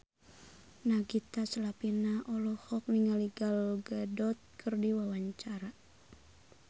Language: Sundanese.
Nagita Slavina olohok ningali Gal Gadot keur diwawancara